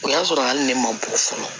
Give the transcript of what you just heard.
O y'a sɔrɔ hali ne ma bɔ fɔlɔ